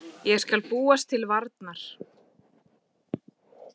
Ég skal búast til varnar.